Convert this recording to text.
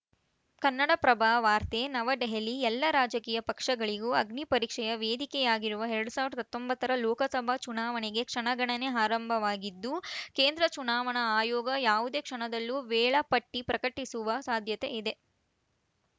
ಕನ್ನಡಪ್ರಭ ವಾರ್ತೆ ನವದೆಹಲಿ ಎಲ್ಲಾ ರಾಜಕೀಯ ಪಕ್ಷಗಳಿಗೂ ಅಗ್ನಿಪರೀಕ್ಷೆಯ ವೇದಿಕೆಯಾಗಿರುವ ಎರಡ್ ಸಾವಿರದ ಹತ್ತೊಂಬತ್ತರ ಲೋಕಸಭಾ ಚುನಾವಣೆಗೆ ಕ್ಷಣಗಣನೆ ಆರಂಭವಾಗಿದ್ದು ಕೇಂದ್ರ ಚುನಾವಣಾ ಆಯೋಗ ಯಾವುದೇ ಕ್ಷಣದಲ್ಲೂ ವೇಳಾಪಟ್ಟಿಪ್ರಕಟಿಸುವ ಸಾಧ್ಯತೆ ಇದೆ